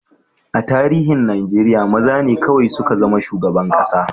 A tarihin Najeriya, maza ne kawai suka zama shugaban kasa.